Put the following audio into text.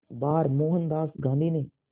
बार मोहनदास गांधी ने